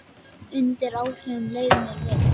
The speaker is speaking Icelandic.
Undir áhrifum leið mér vel.